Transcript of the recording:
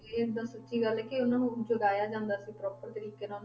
ਇਹ ਇੱਕਦਮ ਸੱਚੀ ਗੱਲ ਹੈ ਉਹਨਾਂ ਨੂੰ ਜਗ੍ਹਾਇਆ ਜਾਂਦਾ ਸੀ proper ਤਰੀਕੇ ਨਾਲ।